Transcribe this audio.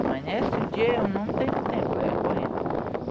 Amanhece o dia e eu não tenho tempo, é correndo.